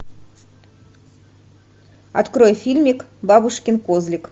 открой фильмик бабушкин козлик